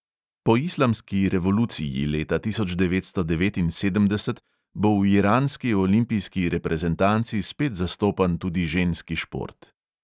Po islamski revoluciji leta tisoč devetsto devetinsedemdeset bo v iranski olimpijski reprezentanci spet zastopan tudi ženski šport.